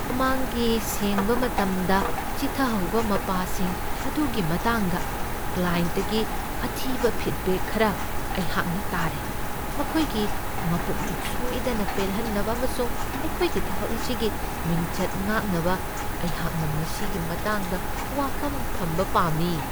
ꯃꯃꯥꯡꯒꯤ ꯁꯦꯡꯕ ꯃꯇꯝꯗ ꯆꯤꯊꯍꯧꯕ ꯃꯄꯥꯁꯤꯡ ꯑꯗꯨꯒꯤ ꯃꯇꯥꯡꯗ ꯀ꯭ꯂꯥꯌꯦꯟꯠꯇꯒꯤ ꯑꯊꯤꯕ ꯐꯤꯗꯕꯦꯛ ꯈꯔ ꯑꯩꯍꯥꯛꯅ ꯇꯥꯔꯦ ꯫ ꯃꯈꯣꯏꯒꯤ ꯃꯄꯨꯛꯅꯤꯡ ꯁꯣꯏꯗꯅ ꯄꯦꯜꯍꯟꯅꯕ ꯑꯃꯁꯨꯡ ꯑꯩꯈꯣꯏꯒꯤ ꯊꯕꯛ ꯑꯁꯤꯒꯤ ꯃꯤꯡꯆꯠ ꯉꯥꯛꯅꯕ ꯑꯩꯍꯥꯛꯅ ꯃꯁꯤꯒꯤ ꯃꯇꯥꯡꯗ ꯋꯥꯐꯝ ꯊꯝꯕ ꯄꯥꯝꯃꯤ ꯫